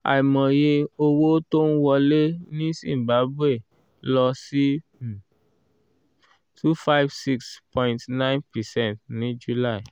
àìmọye owó tó ń wọlé ní zimbabwe lọ sí um two five six point nine percent ní july